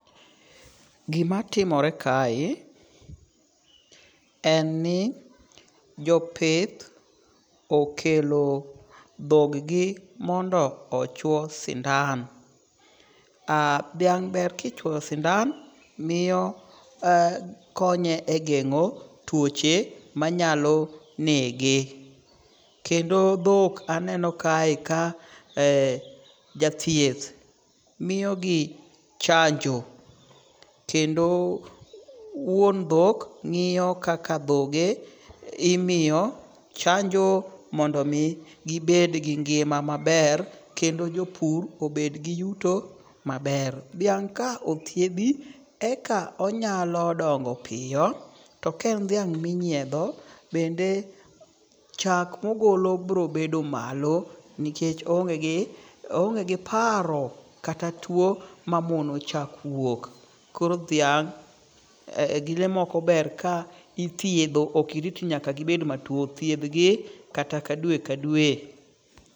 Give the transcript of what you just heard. Gima timore kae en ni jopith okelo dhog gi mondo ochwo sindan. Dhiang' ber kichwoyo sindan miyo konye e geng'o tuoche manyalo nege. Kendo dhok aneno kae ka jathieth miyogi chanjo kendo wuon dhok ng'iyo kaka dhoge imoyo chanjo mondo mi gibed gi ngima maber kendo jopur obed gi yuto maber. Dhiang' ka othiedhi eka onyalo dongo piyo. To ka en dhiang' minyiedho, bende chak mogolo biro bedo malo nikech o onge gi paro kata tuo mamono chak wuok. Koro dhiang' gi le moko ber ka ithiedho ok irit nyaka gibet matuo. Thiedh gi kata dwe ka dwe.